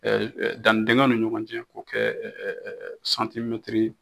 danni dingɛw ni ɲɔgɔn cɛ ko kɛ santimɛtri